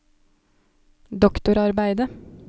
doktorarbeidet